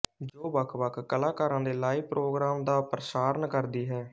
ਜੋ ਵੱਖਵੱਖ ਕਲਾਕਾਰਾਂ ਦੇ ਲਾਈਵ ਪ੍ਰੋਗਰਾਮ ਦਾ ਪ੍ਰਸਾਰਣ ਕਰਦੀ ਹੈ